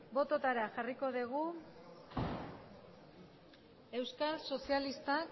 botoetara jarriko dugu euskal sozialistak